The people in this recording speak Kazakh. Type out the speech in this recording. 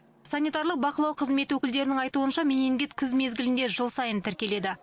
санитарлық бақылау қызметі өкілдерінің айтуынша менингит күз мезгілінде жыл сайын тіркеледі